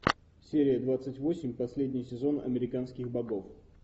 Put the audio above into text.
серия двадцать восемь последний сезон американских богов